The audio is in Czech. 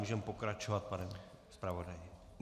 Můžeme pokračovat, pane zpravodaji.